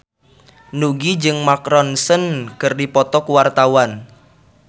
Nugie jeung Mark Ronson keur dipoto ku wartawan